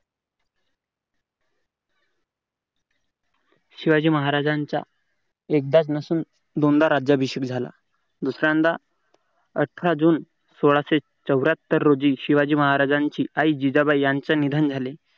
शिवाजी महाराजांचा एकदाच नसून दोनदा राज्याभिषेक झाला. दुसऱ्यांदा अठरा जून सोळाशे चौऱ्यात्तर रोजी शिवाजी महाराज यांचं आईचं निधन झालं.